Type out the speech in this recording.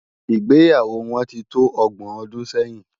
Igbéyáwò wòn ti tó ògbòn òdún sèyin